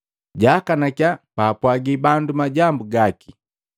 Jaakanakya baapwagi bandu majambu gaki.